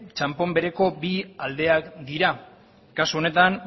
txanpon bereko bi aldeak dira kasu honetan